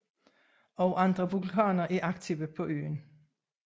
Også andre vulkaner er aktive på øen